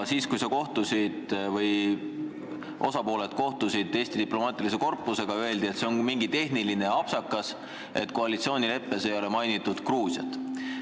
Kui osapooled kohtusid Eesti diplomaatilise korpusega, siis öeldi, et see on tehniline apsakas, et koalitsioonileppes ei ole mainitud Gruusiat.